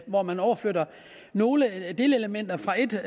hvor man overflytter nogle delelementer fra et